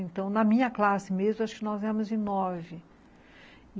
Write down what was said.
Então, na minha classe mesmo, acho que nós éramos em nove.